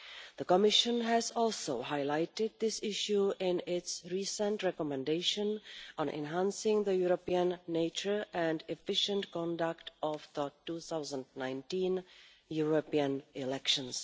The Commission also highlighted this issue in its recent recommendation on enhancing the European nature and efficient conduct of the 2019 European elections.